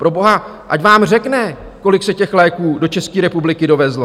Proboha, ať vám řekne, kolik se těch léků do České republiky dovezlo .